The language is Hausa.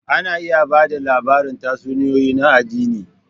Ana iya ba da labaran tatsuniyoyi na addini.